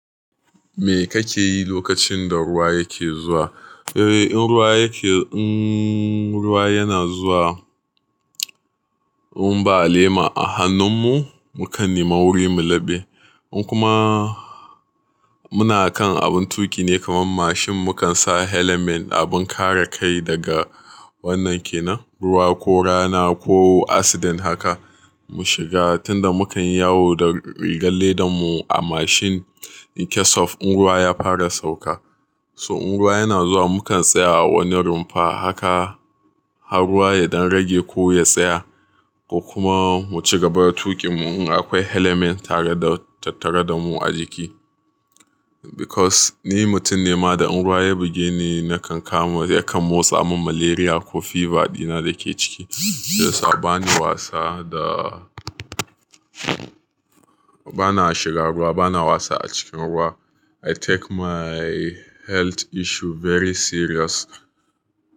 Me kake yi lokacin da ruwa yake zuwa? Eh, in ruwa yake, in ruwa yana zuwa, mun ba lema a hannun mu, mukan nema wurin mu labe. In kuma muna kan abun tuƙi ne kamar mashin, mukan sa helmet, abin kare kai daga wannan ke nan, ruwa ko rana ko accident haka mu shiga tunda muka yi yawo da rigar ledan mu a mashin in case of in ruwa ya fara sauka. So in ruwa yana zuwa mukan tsaya a wani rumfa haka har ruwa ya dang rage ko ya tsaya ko kuma mu ci gaba da tuƙin mu in akwai helmet tare da tattare da mu a jiki. Because ni mutum ne ma da in ruwa ya buge ni nakan kama, yakan motsa min malaria ko fever dina da ke ciki. So sa bani wasa da bana shiga ruwa, bana wasa a cikin ruwa. I take my health issue very serious.